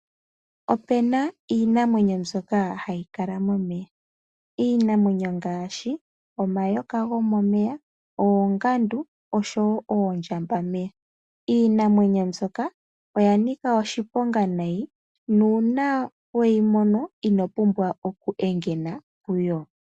Ope na iinamwenyo mbyoka hayi kala momeya. Iinamwenyo ngaashi omayoka gomomeya, oongandu osho wo oondjambameya. Iinamwenyo mbyoka oya nika oshiponga nayi nuuna we yi mono, ino pumbwa okuhedha puyo.